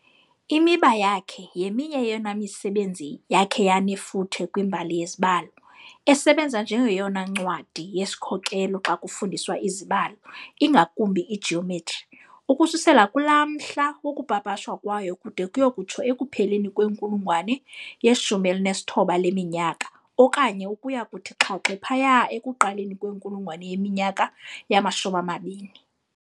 "Imiba" yakhe yeminye yeyona misebenzi yakhe yanefuthe kwimbali yezibalo, esebenza njengeyona ncwadi yesikhokhelo xa kufundiswa izibalo, ingakumbi igeometry, ukususela kulaa mhla wokupapashwa kwayo kude kuye kutsho ekupheleni kwenkulungwane ye19 leminyaka okanye ukuya kuthi xhaxhe phaya ekuqaleni kwenkulungwane yeminyaka yama-20.